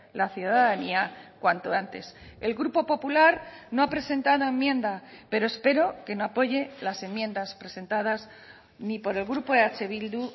la ciudadanía cuanto antes el grupo popular no ha presentado enmienda pero espero que no apoye las enmiendas presentadas ni por el grupo eh bildu